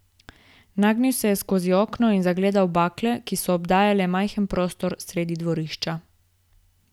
Nagnil se je skozi okno in zagledal bakle, ki so obdajale majhen prostor sredi dvorišča.